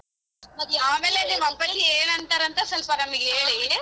ನಿಮ್ ಅಪ್ಪಾಜಿ ಏನ್ ಅಂತಾರಂತ ಸೊಲ್ಪ ನಮಿಗ್ ಹೇಳಿ.